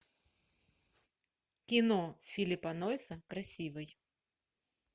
кино филлипа нойса красивый